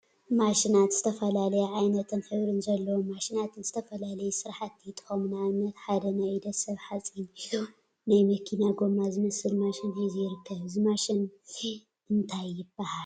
ማሽናት ዝተፈላለዩ ዓይነትን ሕብሪ ዘለዎም ማሽናት ንዝተፈላለዩ ስራሕቲ ይጠቅሙ፡፡ ንአብነት ሓደ ናይ ኢድ ሰብ ሓፂን ሒዙ ናይ መኪና ጎማ ዝመስል ማሽን ሒዙ ይርከብ፡፡ እዚ ማሽን እዚ እንታይ ይበሃል?